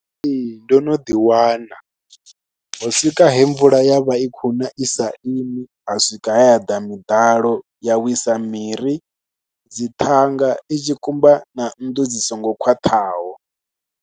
Ee ndo no ḓiwana, ho swika he mvula ya vha i khou na i sa imi ha swika he ha ḓa miḓalo ya wisa miri, dzi ṱhanga, i tshi kumba na nnḓu dzi songo khwaṱhaho.